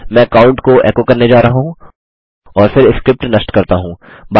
मैं काउंट को एको करने जा रहा हूँ और फिर स्क्रिप्ट नष्ट करता हूँ